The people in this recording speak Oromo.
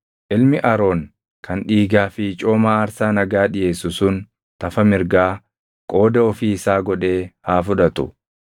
Ilmi Aroon kan dhiigaa fi cooma aarsaa nagaa dhiʼeessu sun tafa mirgaa qooda ofii isaa godhee haa fudhatu.